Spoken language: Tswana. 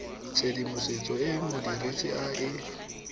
tshedimosetso e modirisi a e